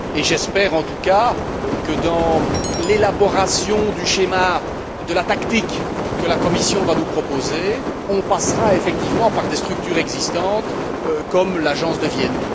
J'espère en tout cas que dans l'élaboration du schéma de la tactique que la Commission va nous proposer, on passera effectivement par des structures existantes, comme l'agence de Vienne.